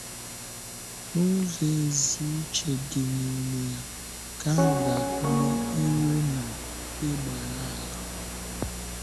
N’ụzọ ezi uche dị n’ime ya, nke ahụ ga-agụnye ire na na ịgbàrà àlà.